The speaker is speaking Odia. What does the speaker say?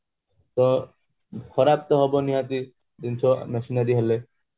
ତ ଖରାପ ତ ହବ ନିହାତି ଜିନିଷ machinery ହେଲେ